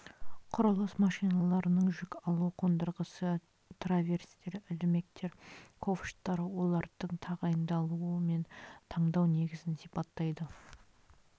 құрылыс машиналарының жүк алу қондырғысы траверстер ілмектер ковштар олардың тағайындалуы мен таңдау негізін сипаттайды